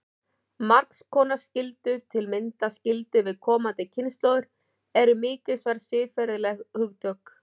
Margs konar skyldur, til að mynda skyldur við komandi kynslóðir, eru mikilsverð siðferðileg hugtök.